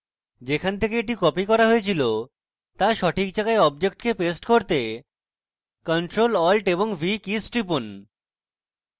যেখান থেকে এটি copied করা হয়েছিল to সঠিক জায়গায় অবজেক্টকে paste করতে ctrl + alt + v কীস টিপুন